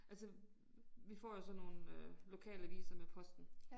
Altså vi får jo så nogle øh lokalaviser med posten